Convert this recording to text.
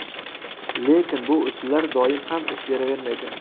Lekin bu usullar doim ham ish beravermaydi.